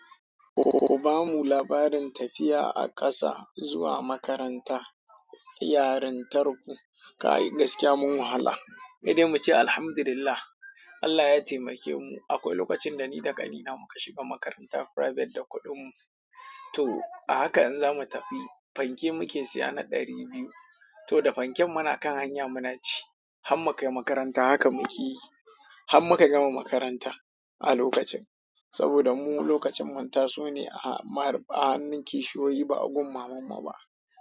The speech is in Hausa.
Ku ba mu labarin tafiya a ƙasa zuwa makaranta, yarantar ku, kai gaskiya mun wahala. Sai de mu ce alhamdulillah, Allah ya taimake mu. Akwai lokacin da ni da ƙanina muka shiga makaranta private da kuɗinmu. To a haka in za mu tafi, fanke muke siya na ɗari biyu. To da fanken muna kan hanya muna ci. Han mukai makaranta haka muƙeyi. Hann maka gama makaranta a lokacin. Saboda mu lokacin mun tasu ne a hannun kishiyoyi ba a gun mamammu ba.